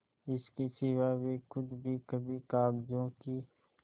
इसके सिवा वे खुद भी कभी कागजों की